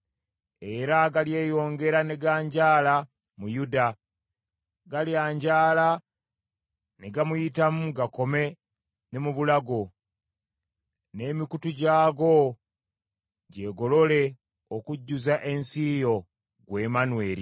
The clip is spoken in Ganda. Era galyeyongera ne ganjaala mu Yuda, galyanjaala ne gamuyitamu gakome ne mu bulago, n’emikutu gyago gyegolole okujjuza ensi yo, ggwe Emmanweri.”